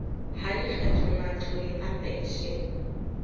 ha lekgetho matlole a penshene